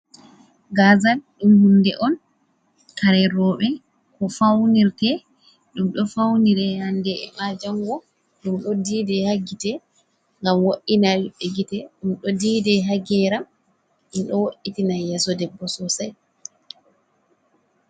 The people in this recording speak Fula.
Gaazal ɗum hunde on kare rooɓe ko fawnirte, ɗum ɗo fawnire hannde e maa janngo, ɗum ɗo diida haa gite, ngam wo’’ina ɓiɓɓe gite, ɗum ɗo diida haa geeram, ɗum ɗo wo’’itina yeeso debbo soosay.